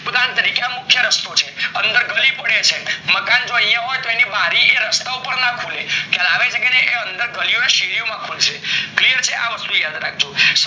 ઉદાહરણ તરીકે આ મુખ્ય રસ્તો છે અંદર ગલી પડે છે, મકાન જો યા હોય તો એની બારી રસ્તા ઉપર ના ખુલે ખ્યાલ આવી એ અંદર ગલીઓ માં અને શેરિયો માં ખુલશે clear છે આ વસ્તુ યાદ રાખજો